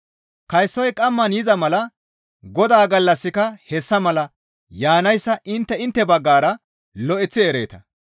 Kaysoy qamman yiza mala Godaa gallassika hessa mala yaanayssa intte intte baggara lo7eththi ereeta.